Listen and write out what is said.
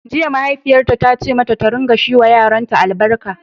Jiya, mahaifiyarta ta ce mata ta dinga shi wa yaranta albarka